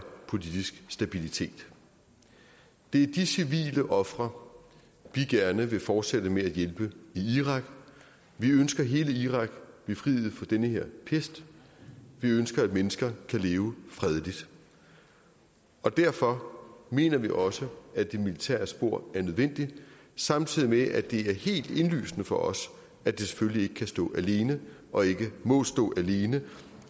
politisk stabilitet det er de civile ofre vi gerne vil fortsætte med at hjælpe i irak vi ønsker hele irak befriet for den her pest vi ønsker at mennesker kan leve fredeligt og derfor mener vi også at det militære spor er nødvendigt samtidig med at det er helt indlysende for os at det selvfølgelig ikke kan stå alene og ikke må stå alene